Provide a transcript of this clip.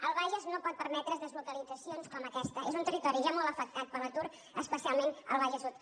el bages no pot permetre’s deslocalitzacions com aquesta és un territori ja molt afectat per l’atur especialment el bages sud